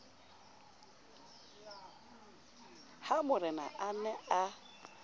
ha morena a ne a